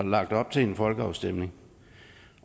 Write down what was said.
lagt op til en folkeafstemning